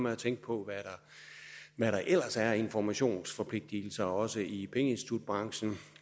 at tænke på hvad der ellers er af informationsforpligtelser også i pengeinstitutbranchen